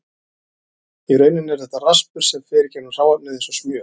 Í rauninni er þetta raspur sem fer í gegnum hráefnið eins og smjör.